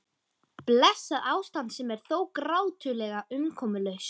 Blessað ástand sem er þó grátlega umkomulaust.